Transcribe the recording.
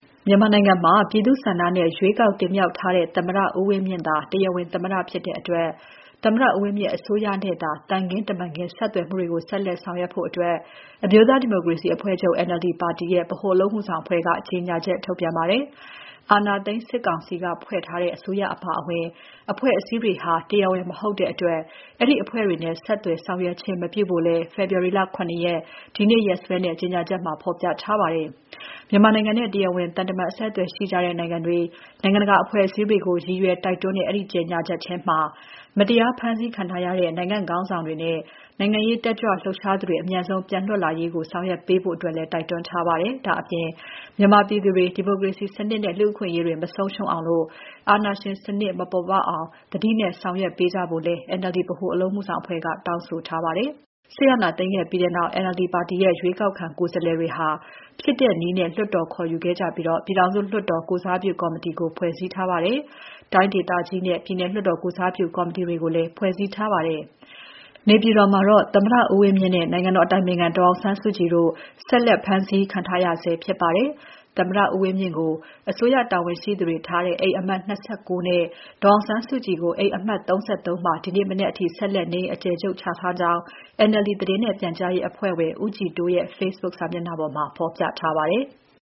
မြန်မာနိုင်ငံမှာ ပြည်သူ့ဆန္ဒနဲ့ ရွေးကောက်တင်မြှောက်ထားတဲ့ သမ္မတဦးဝင်းမြင့်သာ တရားဝင်သမ္မတဖြစ်တဲ့အတွက် သမ္မတဦးဝင်းမြင့်အစိုးရနဲ့သာ သံခင်းတမန်ခင်း ဆက်သွယ်မှုတွေကို ဆက်လက် ဆက်သွယ်ဆောင်ရွက်ဖို့ NLD အမျိုးသားဒီမိုကရေစီအဖွဲ့ချုပ် NLD ပါတီရဲ့ ဗဟိုအလုပ်အမှုဆောင်အဖွဲ့က ကြေညာချက်ထုတ်ပြန်ပါတယ်။ အာဏာသိမ်းစစ်ကောင်စီက ဖွဲ့ထားတဲ့ အစိုးရအပါအဝင် အဖွဲ့အစည်းတွေဟာ တရားဝင်မဟုတ်တဲ့အတွက် အဲဒီအဖွဲ့တွေနဲ့ ဆက်သွယ်ဆောင်ရွက်ခြင်း မပြုဖို့လည်း ဖေဖော်ဝါရီလ ၇ ရက် ဒီနေ့ နေ့စွဲနဲ့ ကြေညာချက်မှာ ဖော်ပြထားပါတယ်။ မြန်မာနိုင်ငံနဲ့ တရားဝင်သံတမန် အဆက်အသွယ်ရှိတဲ့ နိုင်ငံတွေ၊ နိုင်ငံတကာ အဖဲ့ွအစည်းတွေကို ရည်ရွယ်တိုက်တွန်းတဲ့ အဲဒီကြေညာချက်ထဲမှာ မတရားဖမ်းဆီးခံထားရတဲ့ နိုင်ငံ့ခေါင်းဆောင်တွေနဲ့ နိုင်ငံရေးတက်ကြွလှုပ်ရှားသူတွေ အမြန်ဆုံးပြန်လွတ်လာရေးကို ဆောင်ရွက်ပေးကြဖို့ တိုက်တွန်းထားပါတယ်။ ဒါ့အပြင် မြန်မာပြည်သူတွေ ဒီမိုကရေစီစနစ်နဲ့ လူ့အခွင့်အရေးတွေ မဆုံးရှုံးအောင်၊ အာဏာရှင်စနစ် မပေါ်ပေါက်အောင် သတိနဲ့ဆောင်ရွက်ပေးကြဖို့လည်း NLD ဗဟိုအလုပ်အမှုဆောင်အဖွဲ့က တောင်းဆိုထားပါတယ်။ စစ်အာဏာသိမ်းခဲြ့ပီးတဲ့နောက် NLD ပါတီရဲ့ ရွေးကောက်ခံကိုယ်စားလှယ်တွေဟာ ဖြစ်တဲ့နည်းနဲ့ လွှတ်တော်ခေါ်ယူခဲ့ကြပြီး ပြည်ထောင်စု လွှတ်တော်ကိုယ်စားပြုကော်မတီကို ဖွဲ့စည်းထားပါတယ်။ တိုင်းဒေသကြီးနဲ့ ပြည်နယ်လွှတ်တော်ကိုယ်စားပြုကော်မတီတွေကိုလည်း ဖွဲ့စည်းထားပါတယ်။ နေပြည်တော်မှာတော့ သမ္မတဦးဝင်းမြင့်နဲ့ နိုင်ငံတော်အတိုင်ပင်ခံဒေါ်အောင်ဆန်းစုကြည်တို့ဆက်လက် ဖမ်းဆီးခံထားရဆဲဖြစ်ပါတယ်။ သမ္မတဦးဝင်းမြင့်ကို အစိုးရတာဝန်ရှိသူတွေကိုထားတဲ့ အိမ်အမှတ် ၂၉ နဲ့ ဒေါ်အောင်ဆန်းစုကြည်ကို အိမ်အမှတ် ၃၃ မှာ ဒီနေ့မနက်အထိ ဆက်လက်နေအိမ်အကျယ်ချုပ်ချထားကြောင်း NLD သတင်းနဲ့ပြန်ကြားရေးအဖွဲ့ဝင် ဦးကြည်တိုးရဲ့ Facebook စာမျက်နှာမှာ ဖော်ပြထားပါတယ်။